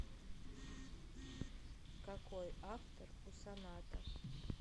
какой автор у соната